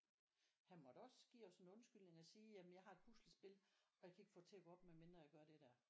Han måtte også give os en undskyldning og sige jamen jeg har et puslespil og jeg kan ikke få det til at gå op med mindre jeg gør det der